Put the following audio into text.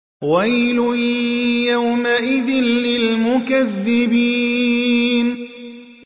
وَيْلٌ يَوْمَئِذٍ لِّلْمُكَذِّبِينَ